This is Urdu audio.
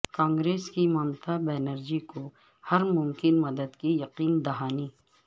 کانگریس کی ممتا بنرجی کو ہر ممکن مدد کی یقین دہانی